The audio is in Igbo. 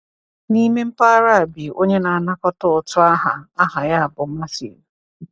N’ime mpaghara a bi onye na-anakọta ụtụ aha aha ya bụ Matthew.